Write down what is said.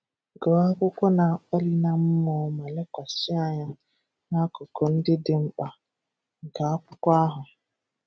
Gụọ akwụkwọ na-akpali na mmụọ, ma lekwasị anya n'akụkụ ndị dị mkpa nke akwụkwọ ahụ.